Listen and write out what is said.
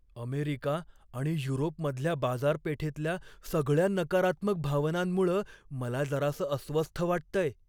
America आणि युरोपमधल्या बाजारपेठेतल्या सगळ्या नकारात्मक भावनांमुळं मला जरासं अस्वस्थ वाटतंय.